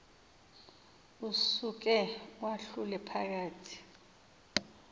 usuke uwahlule phakathi